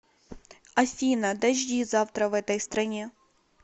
афина дожди завтра в этой стране